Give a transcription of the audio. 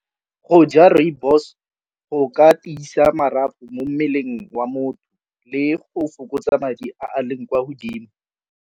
Go ja rooibos go ka tiisa marapo mo mmeleng wa motho le go fokotsa madi a leng kwa godimo.